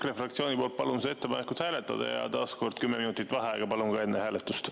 EKRE fraktsiooni poolt palun seda ettepanekut hääletada ja taaskord palun 10 minutit vaheaega enne hääletust.